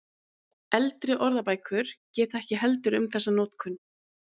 Eldri orðabækur geta ekki heldur um þessa notkun.